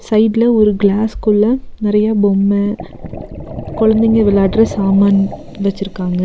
சைடுல ஒரு கிளாஸ்குள்ள நெறைய பொம்ம குழந்தைங்க விளையாடுற சாமான் வெச்சிருக்காங்க.